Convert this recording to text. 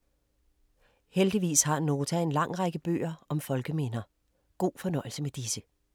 Heldigvis har Nota en lang række bøger om folkeminder. God fornøjelse med disse.